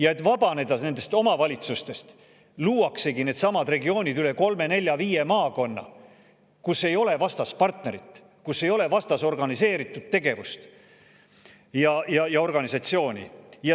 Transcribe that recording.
Ja et vabaneda nendest omavalitsustest, luuaksegi needsamad regioonid üle kolme, nelja, viie maakonna, kus ei ole vastas partnerit, kus ei ole vastas organiseeritud tegevust ja organisatsiooni.